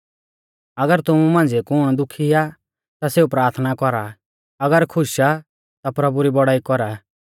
अगर तुमु मांझ़िऐ कुण दुखी आ ता सेऊ प्राथना कौरा अगर खुश आ ता प्रभु री बौड़ाई कौरा